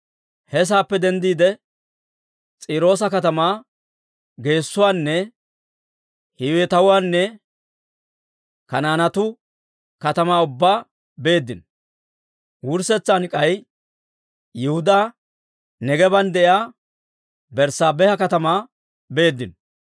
He saappe denddiide, S'iiroosa katamaa geessuwaanne Hiiwetuwaanne Kanaanetuu katamaa ubbaa beeddino. Wurssetsan k'ay Yihudaa Neegeeban de'iyaa Berssaabeha katamaa beeddino.